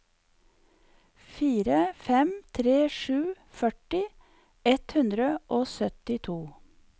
fire fem tre sju førti ett hundre og syttito